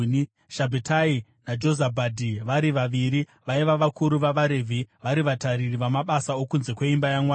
Shabhetai naJozabhadhi, vari vaviri vaiva vakuru vavaRevhi, vari vatariri vamabasa okunze kweimba yaMwari;